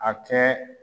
A kɛ